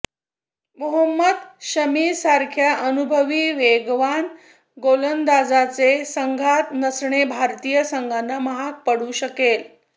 मोहम्मद शमीसारख्या अनुभवी वेगवान गोलंदाजाचे संघात नसणे भारतीय संघाला महाग पडू शकेल